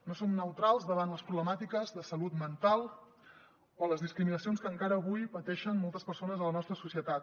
no som neutrals davant les problemàtiques de salut mental o les discriminacions que encara avui pateixen moltes persones a la nostra societat